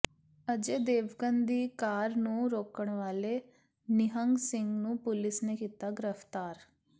ਅਜੈ ਦੇਵਗਨ ਦੀ ਕਾਰ ਨੂੰ ਰੋਕਣ ਵਾਲੇ ਨਿਹੰਗ ਸਿੰਘ ਨੂੰ ਪੁਲਿਸ ਨੇ ਕੀਤਾ ਗ੍ਰਿਫਤਾਰ